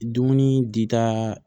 Dumuni di ta